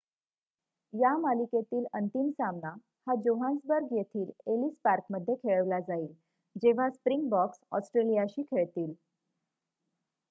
या मालिकेतील अंतिम सामना हा जोहान्सबर्ग येथील एलीस पार्क मध्ये खेळवला जाईल जेव्हा स्प्रिंगबॉक्स ऑस्ट्रेलियाशी खेळतील